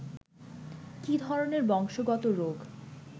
কী ধরনের বংশগত রোগ